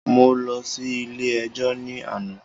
Mo lọ sí ilé ẹjọ́ ní àná.